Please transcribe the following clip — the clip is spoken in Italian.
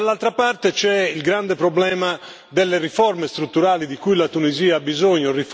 Dall'altra parte, c'è il grande problema delle riforme strutturali di cui la Tunisia ha bisogno.